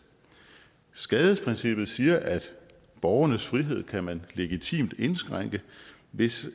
skadesprincippet siger at borgernes frihed kan man legitimt indskrænke hvis